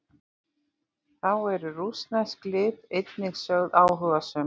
Þá eru rússnesk lið einnig sögð áhugasöm.